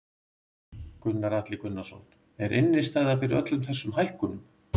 Gunnar Atli Gunnarsson: Er innistæða fyrir öllum þessum hækkunum?